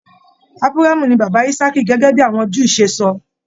Aburamu ní bàbá Ìsàkì gẹgẹ bíi àwọn Júù se sọ.